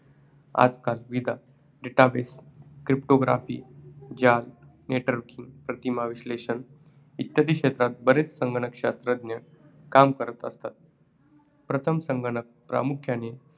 आजकाल विदा databases, cryptograpy जाल networking, प्रतिमा विश्लेषण इत्यादी क्षेत्रात बरेच संगणकशास्त्रज्ञ काम करत असतात. प्रथम संगणक प्रामुख्याने